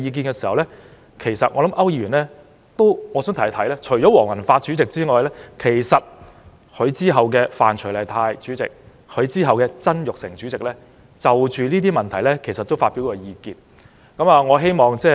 但我想提一提區議員，除了黃宏發主席外，其實在他之後的范徐麗泰主席、曾鈺成主席，都曾就該些問題發表過意見。